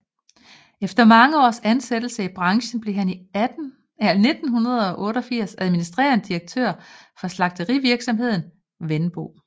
Efter mange års ansættelse i branchen blev han i 1988 administrerende direktør for slagterivirksomheden Wenbo